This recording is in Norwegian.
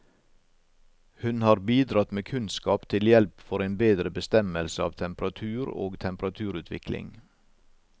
Hun har bidratt med kunnskap til hjelp for en bedre bestemmelse av temperatur og temperaturutvikling.